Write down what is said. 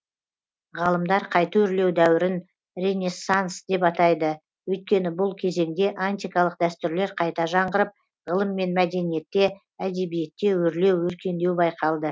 ғалымдар қайта өрлеу дәуірін ренессанс деп атайды өйткені бұл кезеңде антикалық дәстүрлер қайта жаңғырып ғылым мен мәдениетте әдебиетте өрлеу өркендеу байқалды